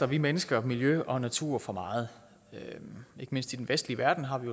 vi mennesker miljø og natur for meget ikke mindst i den vestlige verden har vi